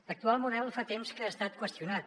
l’actual model fa temps que ha estat qüestionat